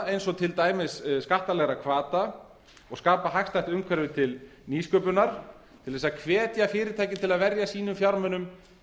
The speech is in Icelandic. eins og til dæmis skattalegra hvata skapa hagstætt umhverfi til nýsköpunar til þess að hvetja fyrirtæki til að verja sínum fjármunum